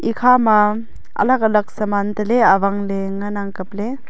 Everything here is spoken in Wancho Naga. ekha ma alak alak saman teley awang ley ngan ang kap ley.